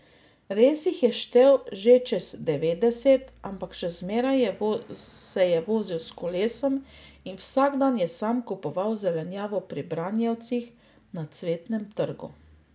Res jih je štel že čez devetdeset, ampak še zmeraj se je vozil s kolesom in vsak dan je sam kupoval zelenjavo pri branjevcih na Cvetnem trgu.